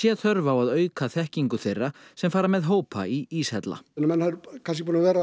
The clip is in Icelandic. þörf á að auka þekkingu þeirra sem fara með hópa í íshella menn eru kannski búnir að vera